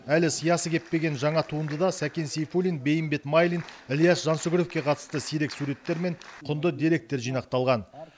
әлі сиясы кеппеген жаңа туындыда сәкен сейфуллин бейімбет майлин ілияс жансүгіровке қатысты сирек суреттер мен құнды деректер жинақталған